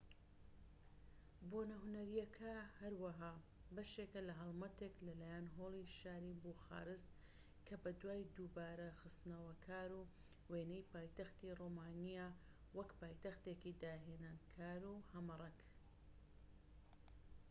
بۆنە هونەرییەکە هەروەها بەشێکە لە هەڵمەتێک لە لایەن هۆڵی شاری بوخارست کە بەدوای دووبارە خستنەوەکاری وێنەی پایتەختی ڕۆمانیایە وەک پایتەختێکی داهێنانکار و هەمەڕەنگ